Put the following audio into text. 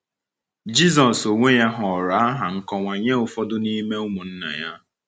Jizọs onwe ya họọrọ aha nkọwa nye ụfọdụ n’ime ụmụnna ya.